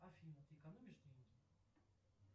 афина ты экономишь деньги